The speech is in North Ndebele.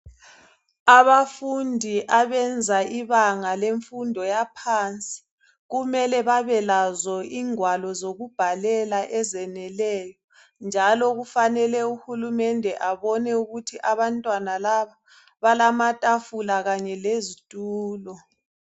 Abafundi abenza ibanga lemfundo yaphansi . Kumele babe lazo igwalo zokubhalela ezeyeneleyo. Njalo kufanele uhurumende abone ukuthi abantwana laba balamathafula kanye lezithulo.